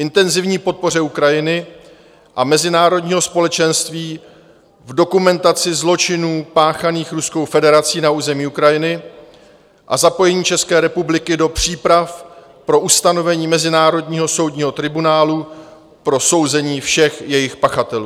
- intenzivní podpoře Ukrajiny a mezinárodního společenství v dokumentaci zločinů páchaných Ruskou federací na území Ukrajiny a zapojení České republiky do příprav pro ustanovení mezinárodního soudního tribunálu pro souzení všech jejich pachatelů;